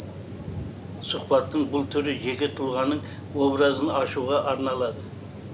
сұхбаттың бұл түрі жеке тұлғаның образын ашуға арналады